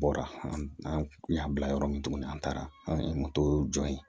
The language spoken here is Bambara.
Bɔra an kun y'an bila yɔrɔ min tuguni an taara an ye jɔ yen